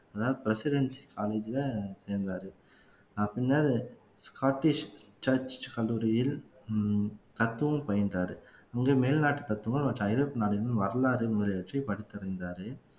அதாவது presidency college ல சேர்ந்தாரு பின்னர் ஸ்காட்டிஷ் church கல்லூரியில் ஹம் தத்துவம் பயின்றாரு இங்க மேல்நாட்டு தத்துவம் நம்ம ஐரோப்பிய நாடுகளின் வரலாறு முதலியவற்றை படித்திருந்தாரு